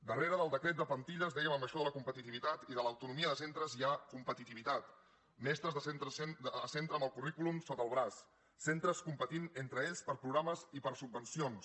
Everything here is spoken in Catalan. darrere del decret de plantilles dèiem en això de la competitivitat i de l’autonomia de centres hi ha competitivitat mestres de centre a centre amb el currículum sota el braç centres competint entre ells per programes i per subvencions